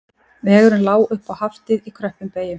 Vegurinn lá upp á Haftið í kröppum beyjum